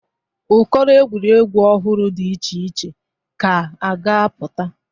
Ụkọrọ egwuregwu ọhụrụ dị iche iche ka a ga-apụta.